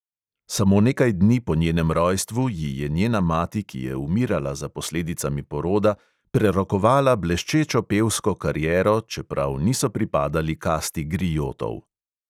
Samo nekaj dni po njenem rojstvu ji je njena mati, ki je umirala za posledicami poroda, prerokovala bleščečo pevsko kariero, čeprav niso pripadali kasti griotov.